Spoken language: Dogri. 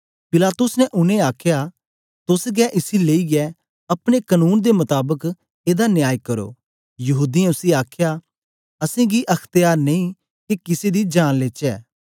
पिलातुस ने उनेंगी आखया तोस गै इसी लेईयै अपने कनून दे मताबक एदा न्याय करो यहूदीयें उसी आखया असेंगी अख्त्यार नेई के किसे दा जान लेचै